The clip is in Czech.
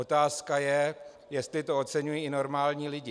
Otázka je, jestli to oceňují i normální lidé.